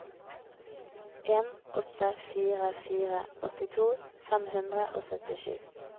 en åtte fire fire åttito fem hundre og syttisju